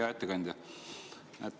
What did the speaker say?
Hea ettekandja!